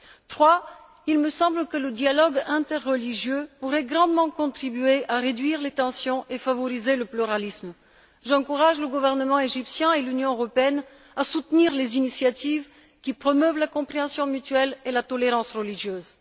Troisièmement, il me semble que le dialogue interreligieux pourrait grandement contribuer à réduire les tensions et favoriser le pluralisme. J'encourage le gouvernement égyptien et l'Union européenne à soutenir les initiatives qui promeuvent la compréhension mutuelle et la tolérance religieuse.